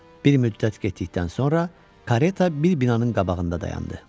Bir müddət getdikdən sonra kareta bir binanın qabağında dayandı.